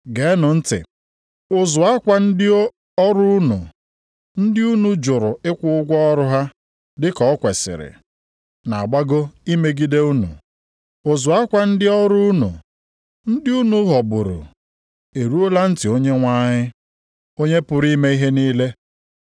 Geenụ ntị! Ụzụ akwa ndị ọrụ unu, ndị unu jụrụ ịkwụ ụgwọ ọrụ ha dị ka o kwesiri na-agbago imegide unu. Ụzụ akwa ndị ọrụ unu, ndị unu ghọgburu, eruola ntị Onyenwe anyị, Onye pụrụ ime ihe niile.